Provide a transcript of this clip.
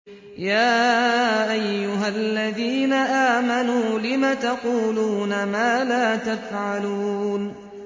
يَا أَيُّهَا الَّذِينَ آمَنُوا لِمَ تَقُولُونَ مَا لَا تَفْعَلُونَ